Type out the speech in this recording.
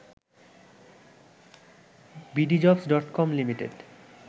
bdjobs dot com limited